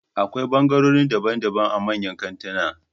Akwai ɓangarorin daban daban a manyan kantinan